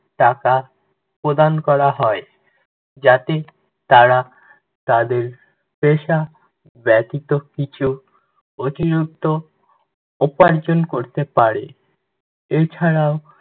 টাকা প্রদান করা হয়। যাতে তারা তাদের পেশা ব্যতিত কিছু অতিরিক্ত উপার্জন করতে পারে। এছাড়াও